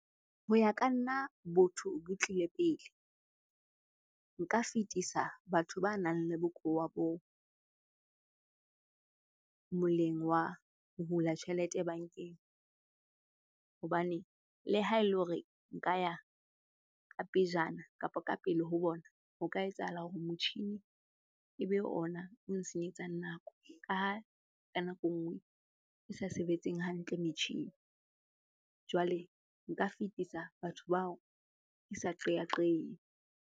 Ho ya ka nna botho bo tlile pele. Nka fetisa batho ba nang le bokowa boo moleng wa hula tjhelete bankeng. Hobane le ha e le hore nka ya ka pejana kapa ka pele ho bona hore ka etsahala hore motjhini e be ona o nsenyetsang nako, ka ha ka nako e nngwe e sa sebetseng hantle metjhini. Jwale nka fetisa batho bao ke sa qeaqehe.